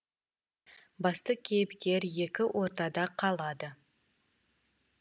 басты кейіпкер екі ортада қалады